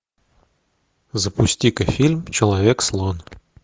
запусти ка фильм человек слон